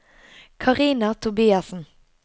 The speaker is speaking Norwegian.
Karina Tobiassen